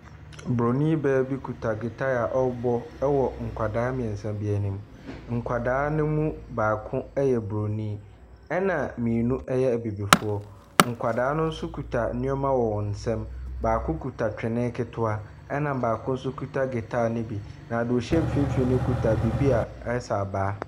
Oburoni baa bi kita gyitaa a ɔrebɔ wɔ nkwadaa mmiɛnsa bi anim. Nkwadaa no mu baako yɛ Buroni na mmienu yɛ Abibifoɔ. Nkwadaa no nso kuta nneɛma wɔwɔn nsam. Baako kita twene ketewa. Ɛna baako nso kita gyitaa no bi. Na nea ɔhyɛ mfimfin no kita biribi a ayɛ sɛ abaa.